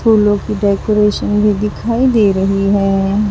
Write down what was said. फूलों की डेकोरेशन भी दिखाई दे रही है।